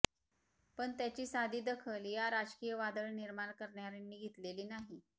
पण त्याची साधी दखल या राजकीय वादळ निर्माण करणार्यांनी घेतलेली नाही